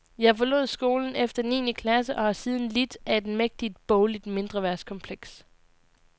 Jeg forlod skolen efter niende klasse, og har siden lidt af et mægtigt bogligt mindreværdskompleks.